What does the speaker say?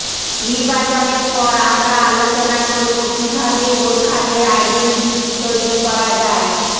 নির্বাচনের পর আমরা আলোচনা করব কীভাবে গোর্খাদের আইডেন্টিটি তৈরি করা যায়